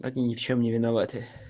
ни в чем не виновата